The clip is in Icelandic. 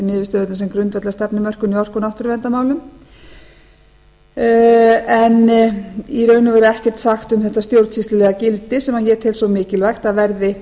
niðurstöðurnar sem grundvöll að stefnumörkun í orku og náttúruverndarmálum en í raun og veru ekkert sagt um þetta stjórnsýslulega gildi sem ég tel svo mikilvægt að verði